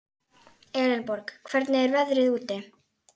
Elenborg, hvernig er veðrið úti?